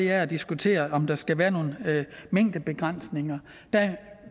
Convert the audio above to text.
er at diskutere om der skal være nogle mængdebegrænsninger der